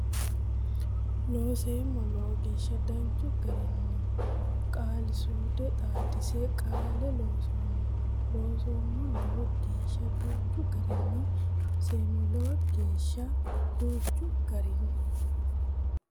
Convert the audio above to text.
Looseemmo Lowo geeshsha danchu garinni qaali suude xaadise qaale loonsoommo Looseemmo Lowo geeshsha danchu garinni Looseemmo Lowo geeshsha danchu garinni.